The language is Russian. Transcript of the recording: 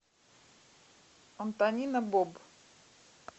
антонина боб